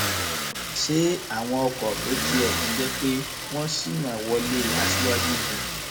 ṣe àwọn ọkọ tó tiẹ tún jẹ pé wọn ṣínà wọlé aṣíwájú ni